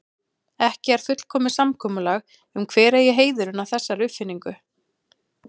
Ekki er fullkomið samkomulag um hver eigi heiðurinn að þessari uppfinningu.